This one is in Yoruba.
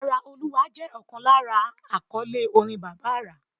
Ara Olúwa jẹ́ ọ̀kan lára àkọ́lé orin Bàbá àrà.